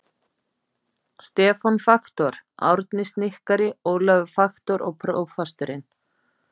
Stefán faktor, Árni snikkari, Ólafur faktor, prófasturinn.